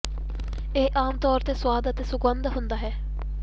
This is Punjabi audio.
ਇਹ ਆਮ ਤੌਰ ਤੇ ਸਵਾਦ ਅਤੇ ਸੁਗੰਧਤ ਹੁੰਦਾ ਹੈ